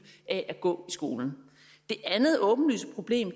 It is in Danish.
af at gå i skolen det andet åbenlyse problem